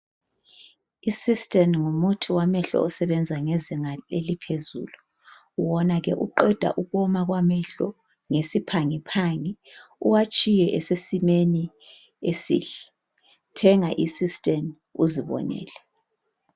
Isystane ngumuthi wamehlo osebenza ngezinga eliphezulu wona ke uqeda ukuwoma kwamehlo ngesiphangiphangi uwatshiye esesimeni esihle, thenga isystane uzibonele.